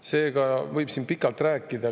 Sellest võib siin pikalt rääkida.